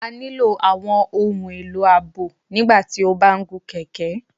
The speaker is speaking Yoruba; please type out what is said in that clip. A nílo awọn ohun elo aabo nígbàtí o ba n gún kẹkẹ